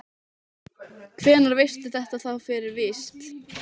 Hvenær veistu þetta þá fyrir víst?